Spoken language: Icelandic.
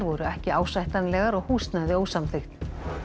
voru ekki ásættanlegar og húsnæði ósamþykkt